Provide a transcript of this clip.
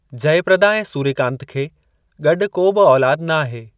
जयप्रदा ऐं सुर्यकांत खे गॾु को बि औलाद नाहे।